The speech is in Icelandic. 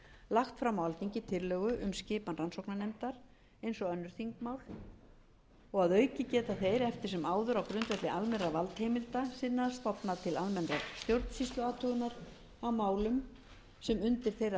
lagt fram á alþingi tillögu um skipan rannsóknarnefndar eins og önnur þingmál og að auki geta þeir eftir sem áður á grundvelli almennra valdheimilda sinna stofnað til almennrar stjórnsýsluathugunar á málum sem undir þeirra valdsvið heyra telji þeir